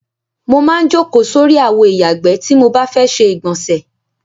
Mo maá ń jókòó sórí àwo ìyàgbẹ́ tí mo bá ti fẹ́ ṣe ìgbọ̀nsè.